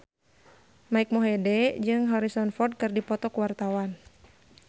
Mike Mohede jeung Harrison Ford keur dipoto ku wartawan